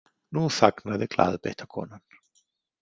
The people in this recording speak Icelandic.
Nú þagnaði glaðbeitta konan.